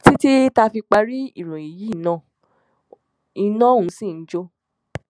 títí tá a fi parí ìròyìn yìí ni iná ọhún ṣì ń jó